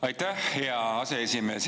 Aitäh, hea aseesimees!